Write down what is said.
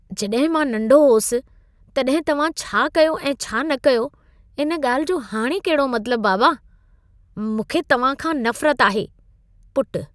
जॾहिं मां नंढो हुअसि, तॾहिं तव्हां छा कयो ऐं छा न कयो, इन ॻाल्हि जो हाणे कहिड़ो मतलब, बाबा। मूंखे तव्हां खां नफ़रत आहे। (पुटु)